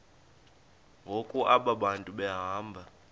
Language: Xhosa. ngoku abantu behamba